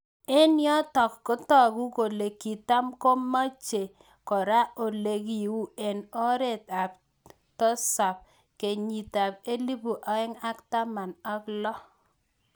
Eng yotok kotoku kole kitamakomeje kora olekiu eng arawet ab tosab kenyit elipunaeng ak taman ak lo.